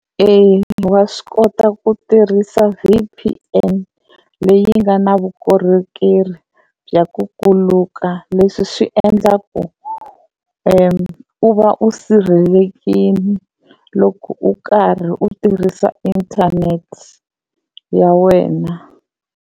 Eya wa swi kota ku tirhisa V_P_N leyi nga na vukorhokeri bya ku kuluka leswi swi endlaku u va u sirhelelekini loko u karhi u tirhisa internet ya wena.